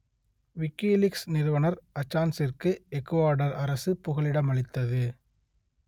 WikiLeaks நிறுவனர் அசான்ச்சிற்கு Ecuador அரசு புகலிடம் அளித்தது